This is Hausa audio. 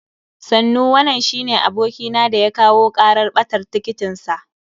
Sannu, wanan shine abokina da ya kawo karar ɓatar tiketin sa.